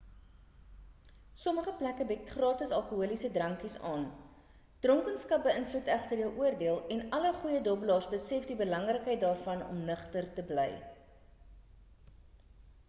sommige plekke bied gratis alkoholiese drankies aan dronkenskap beïnvloed egter jou oordeel en alle goeie dobbelaars besef die belangrikheid daarvan om nugter te bly